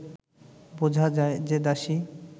বোঝা যায় যে দাসী